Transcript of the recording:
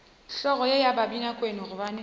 hlogo ye ya babinakwena gobane